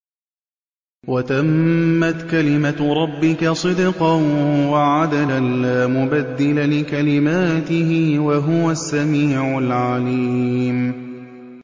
وَتَمَّتْ كَلِمَتُ رَبِّكَ صِدْقًا وَعَدْلًا ۚ لَّا مُبَدِّلَ لِكَلِمَاتِهِ ۚ وَهُوَ السَّمِيعُ الْعَلِيمُ